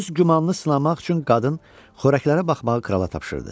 Öz gümanını sınamaq üçün qadın xörəklərə baxmağı krala tapşırdı.